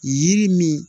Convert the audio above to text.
Yiri min